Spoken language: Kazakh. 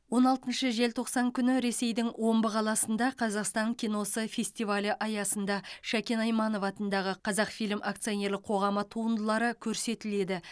он алтыншы желтоқсан күні ресейдің омбы қаласында қазақстан киносы фестивалі аясында шәкен айманов атындағы қазақфильм акционерлік қоғамы туындылары көрсетіледі